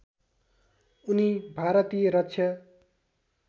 उनी भारतीय रक्षा